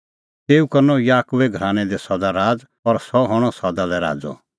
तेऊ करनअ याकूबे घरानै दी सदा राज़ और सह हणअ सदा लै राज़अ